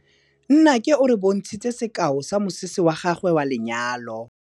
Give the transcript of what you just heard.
Nnake o re bontshitse sekaô sa mosese wa gagwe wa lenyalo.